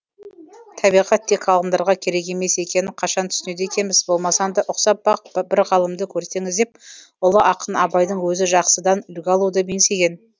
табиғат тек ғалымдарға керек емес екенін қашан түсінеді екенбіз болмасаң да ұқсап бақ бір ғалымды көрсеңіз деп ұлы ақын абайдың өзі жақсыдан үлгі алуды меңзеген